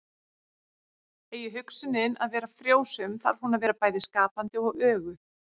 Eigi hugsunin að vera frjósöm þarf hún að vera bæði skapandi og öguð.